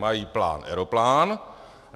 Mají plán - aeroplán.